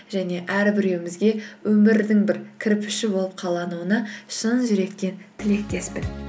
және әрбіреуімізге өмірдің бір кірпіші болып қалануыңа шын жүректен тілектеспін